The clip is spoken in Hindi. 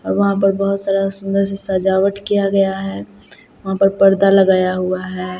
और वहां पर बहोत सारा सुंदर सी सजावट किया गया है वहां पर पर्दा लगाया हुआ है।